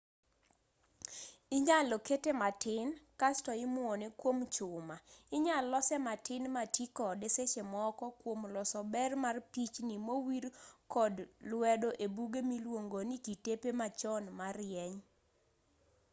inyalo kete matin kasto imuone kuom chuma inyal lose matin matii kode sechemoko kuom loso ber mar pichnii mowir kod lwedo ebuge miluongoni kitepe machon marieny